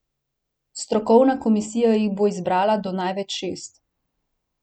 Strokovna komisija jih bo izbrala do največ šest.